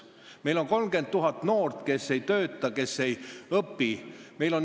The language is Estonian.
Meil on 30 000 noort, kes ei tööta ega õpi.